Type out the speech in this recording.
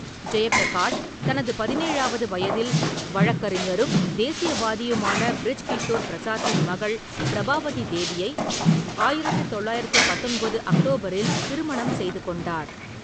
ஜெயப்பிரகாஷ் தனது பதினேழாவது வயதில், வழக்கறிஞரும் தேசியவாதியுமான பிரிஜ் கிஷோர் பிரசாத்தின் மகள் பிரபாவதி தேவியை ஆயிரத்து தொள்ளாயிரத்து பத்தொன்பது அக்டோபரில் திருமணம் செய்து கொண்டார்.